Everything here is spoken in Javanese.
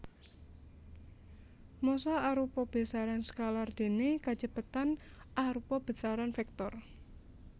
Massa arupa besaran skalar déné kacepetan arupa besaran vektor